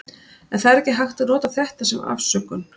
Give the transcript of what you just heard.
En það er ekki hægt að nota þetta sem afsökun.